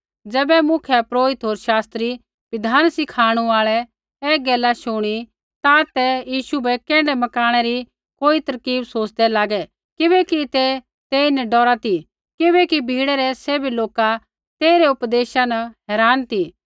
ज़ैबै मुख्यपुरोहिता होर शास्त्री बिधान सिखाणु आल़ै ऐ गैला शुणी ता ते यीशु बै कैण्ढै मकाणा री कोई तरकीब सोच़दै लागै किबैकि ते तेईन डौरा ती किबैकि भीड़ै रै सैभै लोका तेइरै उपदेशा न हैरान ती